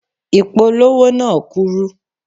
Ìpolówó náà kúrú.